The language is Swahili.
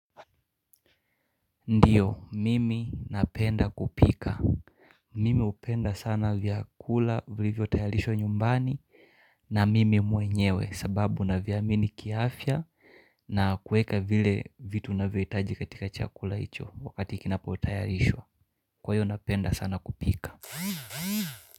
Ndiyo, mimi napenda kupika. Mimi hupenda sana vyakula, vilivyotayarishwa nyumbani na mimi mwenyewe sababu naviamini kiafya na kueka vile vitu navyohitaji katika chakula hicho wakati kinapo tayarishwa. Kwa hio napenda sana kupika.